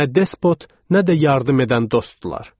Nə despot, nə də yardım edən dostdular.